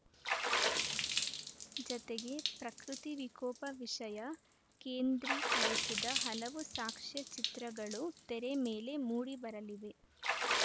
ಜತೆಗೆ ಪ್ರಕೃತಿ ವಿಕೋಪ ವಿಷಯ ಕೇಂದ್ರಿಕರಿಸಿದ ಹಲವು ಸಾಕ್ಷ್ಯ ಚಿತ್ರಗಳು ತೆರೆ ಮೇಲೆ ಮೂಡಿಬರಲಿವೆ